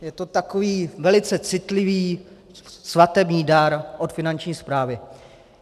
Je to takový velice citlivý svatební dar od Finanční správy.